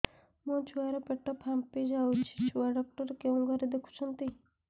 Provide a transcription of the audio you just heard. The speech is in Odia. ମୋ ଛୁଆ ର ପେଟ ଫାମ୍ପି ଯାଉଛି ଛୁଆ ଡକ୍ଟର କେଉଁ ଘରେ ଦେଖୁ ଛନ୍ତି